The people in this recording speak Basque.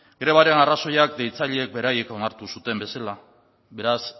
grebaren arrazoiak deitzaileek beraiek onartu zuten bezala beraz